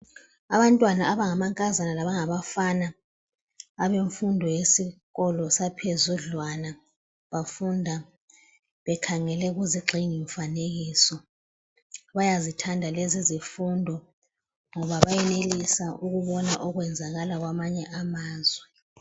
Abantwana abangamankazana laba ngabafana abemfundo yesikolo saphezudlwana bafunda bekhangele kuzigxingi mfanekiso bayazithanda lezi izifundo ngoba bayenelisa ukubona okwenzakala kwamanye amazwe.